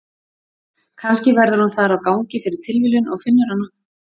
Kannski verður hún þar á gangi fyrir tilviljun og finnur hana.